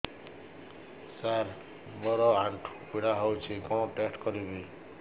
ସାର ମୋର ଆଣ୍ଠୁ ପୀଡା ହଉଚି କଣ ଟେଷ୍ଟ କରିବି